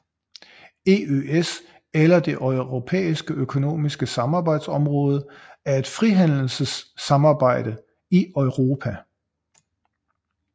EØS eller Det Europæiske Økonomiske Samarbejdsområde er et frihandelssamarbejde i Europa